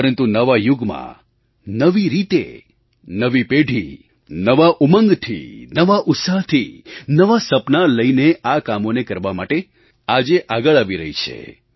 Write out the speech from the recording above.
પરંતુ નવા યુગમાં નવી રીતે નવી પેઢી નવા ઉમંગથી નવા ઉત્સાહથી નવાં સપનાં લઈને આ કામોને કરવા માટે આજે આગળ આવી રહી છે